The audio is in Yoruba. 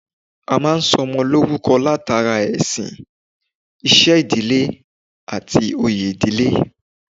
A máa ń sọ ọmọ lórúko látàrí ẹ̀sìn, iṣẹ́ ìdílé, àti oyè ìdílé